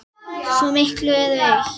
Svo miklu eru eytt.